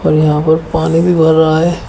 और यहां पर पानी भी भर रहा है।